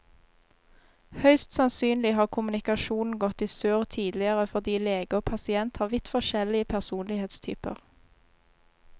Høyst sannsynlig har kommunikasjonen gått i surr tidligere fordi lege og pasient har vidt forskjellig personlighetstyper.